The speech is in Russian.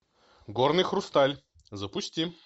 горный хрусталь запусти